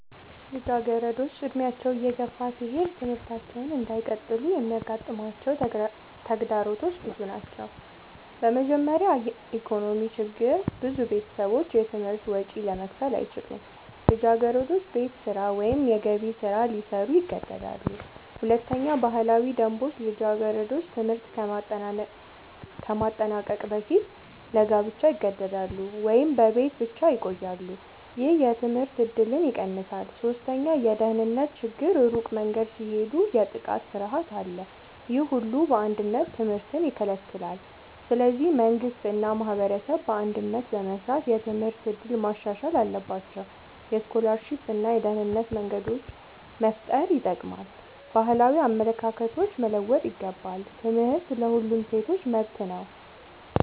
ልጃገረዶች ዕድሜያቸው እየገፋ ሲሄድ ትምህርታቸውን እንዳይቀጥሉ የሚያጋጥሟቸው ተግዳሮቶች ብዙ ናቸው። በመጀመሪያ የኢኮኖሚ ችግር ብዙ ቤተሰቦች የትምህርት ወጪ ለመክፈል አይችሉም። ልጃገረዶች ቤት ስራ ወይም የገቢ ስራ ሊሰሩ ይገደዳሉ። ሁለተኛ ባህላዊ ደንቦች ልጃገረዶች ትምህርት ከማጠናቀቅ በፊት ለጋብቻ ይገደዳሉ ወይም በቤት ብቻ ይቆያሉ። ይህ የትምህርት እድልን ይቀንሳል። ሶስተኛ የደህንነት ችግር ሩቅ መንገድ ሲሄዱ የጥቃት ፍርሃት አለ። ይህ ሁሉ በአንድነት ትምህርትን ይከለክላል። ስለዚህ መንግሥት እና ማህበረሰብ በአንድነት በመስራት የትምህርት እድል ማሻሻል አለባቸው። የስኮላርሺፕ እና የደህንነት መንገዶች መፍጠር ይጠቅማል። ባህላዊ አመለካከቶች መለወጥ ይገባል። ትምህርት ለሁሉም ሴቶች መብት ነው።